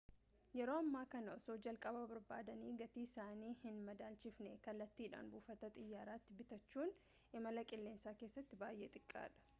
yeroo ammaa kana osoo jalqaba barbaadanii gatii isaanii hin madaalchisfne kallattidhaan buufata xiyyaaraatii bitachuun imala qilleensa keessatti baay'ee xiqqaadha